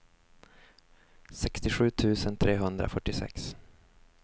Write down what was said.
sextiosju tusen trehundrafyrtiosex